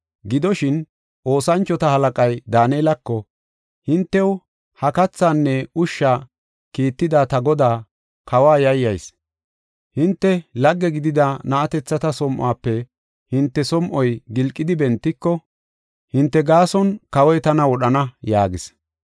Gidoshin, oosanchota halaqay Daanelako, “Hintew ha kathaanne ushsha kiitida ta godaa, kawa yayyayis. Hinte lagge gidida na7atethata som7uwafe hinte som7oy gilqidi bentiko, hinte gaason kawoy tana wodhana” yaagis.